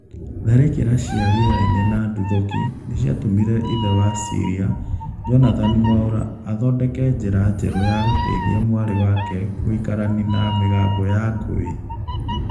Tharĩkĩra cia rĩera-inĩ na nduthũki nĩciatũmire ithe wa Syria, Jonathan Mwaura athondeke njĩra njeru ya gũteithia mwarĩ wake gũikarania na mĩgambo ya ngũi